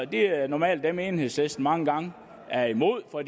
det er normalt dem enhedslisten mange gange er imod for